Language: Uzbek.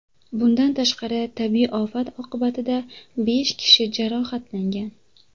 Bundan tashqari tabiiy ofat oqibatida besh kishi jarohatlangan.